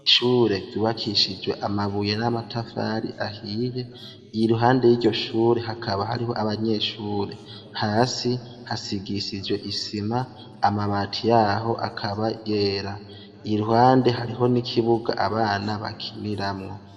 ishure ryubakishijwe amabuye n'amatafari ahiye i ruhande y'iryo shure hakaba hariho abanyeshure hasi hasigisijwe isima amabati yaho akaba yera i ruhande hariho n'ikibuga abana bakiniramwo